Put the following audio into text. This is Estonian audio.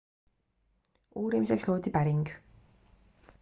uurimiseks loodi päring